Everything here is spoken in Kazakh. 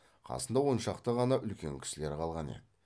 қасында он шақты ғана үлкен кісілер қалған еді